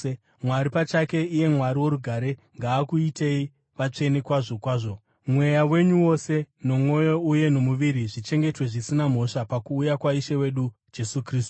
Mwari pachake, iye Mwari worugare, ngaakuitei vatsvene kwazvo kwazvo. Mweya wenyu wose, nomwoyo uye nomuviri zvichengetwe zvisina mhosva pakuuya kwaIshe wedu Jesu Kristu.